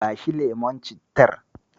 Bashi lemon cittar.